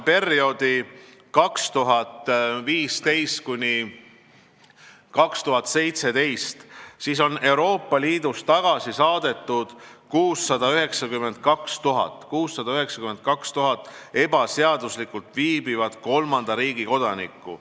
Perioodil 2015–2017 on Euroopa Liidust tagasi saadetud 692 000 ebaseaduslikult liidu territooriumil viibinud kolmanda riigi kodanikku.